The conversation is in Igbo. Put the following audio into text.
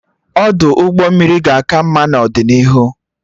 Ọdụ ụgbọ mmiri ga-aka mma n'ọdịnihu